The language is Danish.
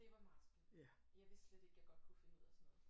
Det var meget spændende jeg vidste slet ikke jeg godt kunne finde ud af sådan noget